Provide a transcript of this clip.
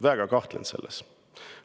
Ma väga kahtlen selles.